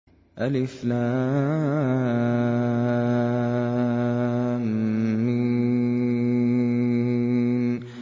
الم